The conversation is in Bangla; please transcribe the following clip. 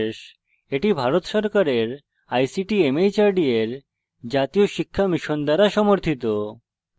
এটি ভারত সরকারের ict mhrd এর জাতীয় শিক্ষা mission দ্বারা সমর্থিত